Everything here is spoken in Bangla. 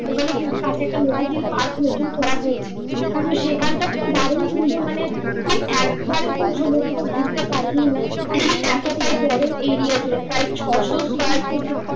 ওখানে কিন্তু কাছে একটা পার্ক নতুন করা হয়েছে তো সেখানকার তো দারুন সুন্দর মানে তুই একবারে তোর সমস্তটা ঘুরতে পারবি না এতটাই বড় area ঘিরে প্রায় ছশো square feet